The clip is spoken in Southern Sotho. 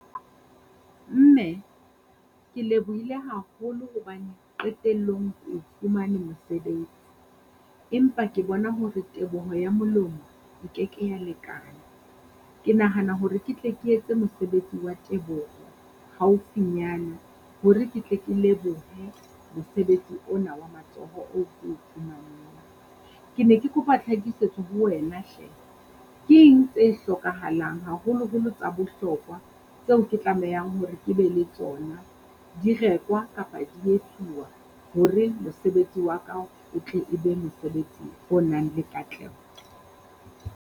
Mme ke lebohile haholo hobane qetellong ko o fumane mosebetsi, empa ke bona hore teboho ya molomo e keke ya lekana. Ke nahana hore ke tle ke etse mosebetsi wa teboho haufinyana, hore ke tle ke lebohe mosebetsi ona wa matsoho oo ko o fumaneng. Ke ne ke kopa tlhakisetso ho wena hle, ke eng tse hlokahalang haholoholo tsa bohlokwa tseo ke tlamehang hore ke be le tsona? Di rekwa kapa di etsuwa hore mosebetsi wa ka o tle e be mosebetsi o nang le katleho.